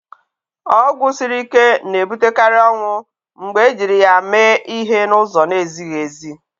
Ọgwụ siri ike na-ebutekarị ọnwụ mgbe ejiri ya mee ihe n'ụzọ na-ezighị ezi.